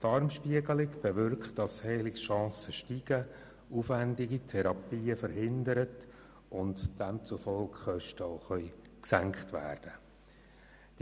Eine Darmspiegelung bewirkt, dass die Heilungschancen steigen, aufwendige Therapien verhindert und demzufolge auch Kosten gesenkt werden können.